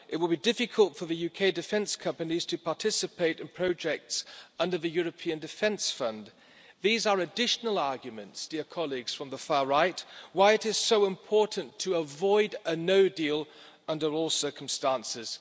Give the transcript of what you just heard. it would be difficult for UK defence companies to participate in projects under the European Defence Fund. These are additional arguments, dear colleagues from the far right, why it is so important to avoid a no deal under all circumstances.